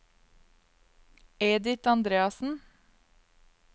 Edith Andreassen